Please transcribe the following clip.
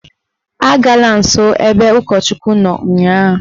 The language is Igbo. Agala nsọ n'ebe ụkọchukwu nọ ụnyaahụ!